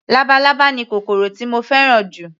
Labalábá ni kòkòrò tí mo fẹ́ràn jù